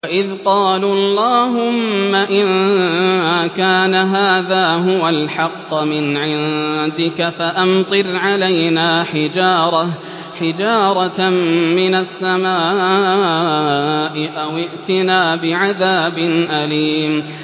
وَإِذْ قَالُوا اللَّهُمَّ إِن كَانَ هَٰذَا هُوَ الْحَقَّ مِنْ عِندِكَ فَأَمْطِرْ عَلَيْنَا حِجَارَةً مِّنَ السَّمَاءِ أَوِ ائْتِنَا بِعَذَابٍ أَلِيمٍ